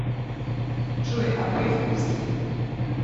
джой а греф русский